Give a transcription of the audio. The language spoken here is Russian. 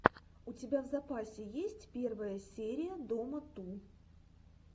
у тебя в запасе есть первая серия дома ту